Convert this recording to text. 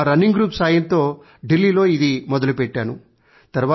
మా running group సాయంతో ఢిల్లీలో ఇది మొదలుపెట్టాను